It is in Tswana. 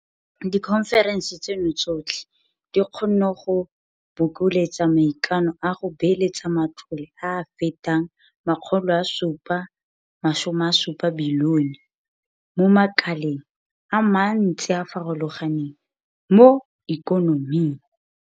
Dikhonferense tseno tsotlhe di kgonne go bokeletsa maikano a go beeletsa matlole a a fetang R770 bilione mo makaleng a mantsi a a farologaneng mo ikonoming.